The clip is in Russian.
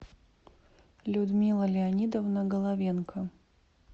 людмила леонидовна головенко